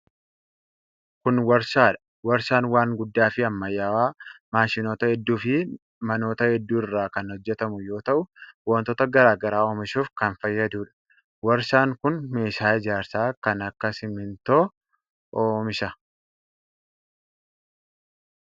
Kun warshaa dha. Warshaan waan guddaa fi ammayyawaa maashinoota hedduu fi manoota hedduu irraa kan hojjatamu yoo ta'u, wantoota garaa garaa oomishuuf kan fayyaduu dha. Warshaan kun meeshaa ijaarsaa kan akka simiintoo oomisha.